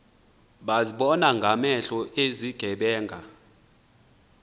bazibona ngamehlo izigebenga